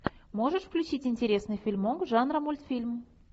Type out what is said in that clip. можешь включить интересный фильмок жанра мультфильм